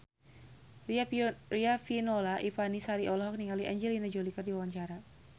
Riafinola Ifani Sari olohok ningali Angelina Jolie keur diwawancara